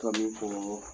Tɔmi ko